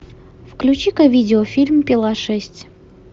включи ка видео фильм пила шесть